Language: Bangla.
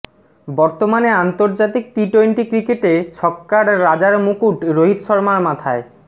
বর্তমানে আন্তর্জাতিক টি টোয়েন্টি ক্রিকেটে ছক্কার রাজা র মুকুট রোহিত শর্মার মাথায়